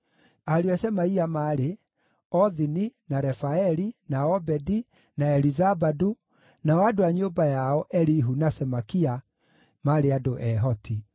Ariũ a Shemaia maarĩ: Othini, na Refaeli, na Obedi, na Elizabadu, nao andũ a nyũmba yao, Elihu, na Semakia, maarĩ andũ ehoti.